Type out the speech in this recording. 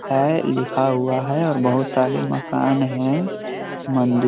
है लिखा हुआ है और बहोत सारे मकान हैं। मंदिर --